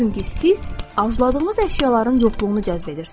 Çünki siz arzuladığınız əşyaların yoxluğunu cəzb edirsiniz.